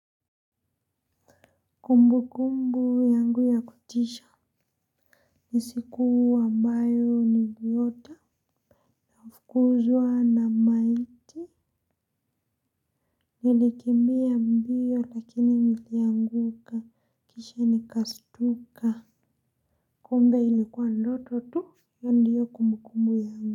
Kumbu kumbu yangu ya kutisha ni siku ambayo niliota nafukuzwa na maiti nilikimbia mbio lakini nilianguka kisha nikastuka kumbe ilikuwa ndoto tu hiyo ndiyo kumbu kumbu yangu.